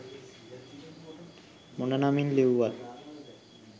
මොන නමින් ලිව්වත්.